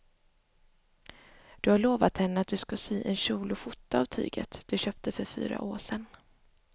Du har lovat henne att du ska sy en kjol och skjorta av tyget du köpte för fyra år sedan.